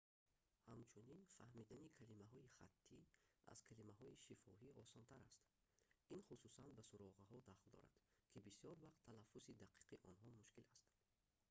ҳамчунин фаҳмидани калимаҳои хаттӣ аз калимаҳои шифоҳӣ осонтар аст ин хусусан ба суроғаҳо дахл дорад ки бисёр вақт талаффузи дақиқи онҳо мушкил аст